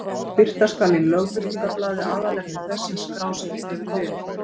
Birta skal í Lögbirtingablaði aðalefni þess sem skrásett hefur verið.